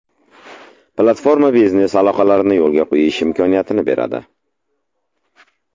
Platforma biznes aloqalarini yo‘lga qo‘yish imkoniyatini beradi.